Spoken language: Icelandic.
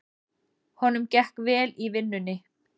Honum gekk vel í vinnunni.